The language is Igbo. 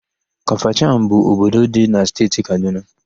Kafachan bụ obodo dị na Steeti Kadụna.